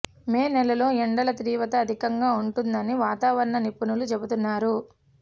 మే నెలలో ఎండల తీవ్రత అధికంగా ఉంటుందని వాతావరణ నిపుణులు చెబుతున్నారు